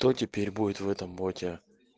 то теперь будет в этом боте